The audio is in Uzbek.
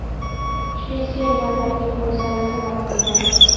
kuchli sel va tabiiy hodisalar sabab bo‘lgan.